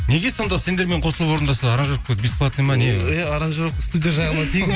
неге сонда сендермен қосылып орындаса аранжировка бесплатно ма не иә аранжировка студия жағынан